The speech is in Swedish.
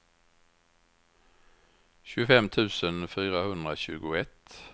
tjugofem tusen fyrahundratjugoett